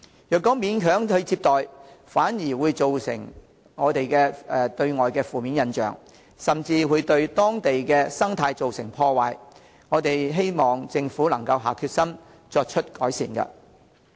若勉強接待，反而對外造成負面印象，甚至對當地生態造成破壞，希望政府能下決心作出改善。